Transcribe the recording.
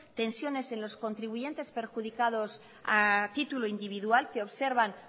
tensiones en los contribuyentes perjudicados a título individual que observan